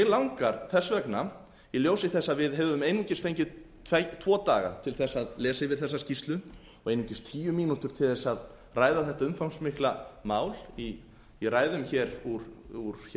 langar þess vegna í ljósi þess að við höfum einungis fengið tvo daga til þess að lesa yfir þessa skýrslu og einungis tíu mínútur til þess að ræða þetta umfangsmikla mál í ræðum hér úr